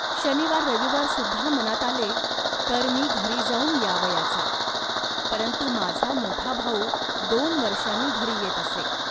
शनिवाररविवारीसुद्धा मनात आले, तर मी घरी जाऊन यावयाचा. परंतु माझा मोठा भाऊ दोन वर्षांनी घरी येत असे